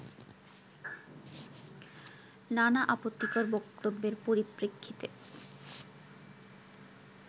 নানা আপত্তিকর বক্তব্যের পরিপ্রেক্ষিতে